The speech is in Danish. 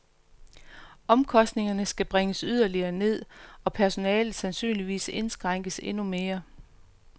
Omkostningerne skal bringes yderligere ned og personalet sandsynligvis indskrænkes endnu mere.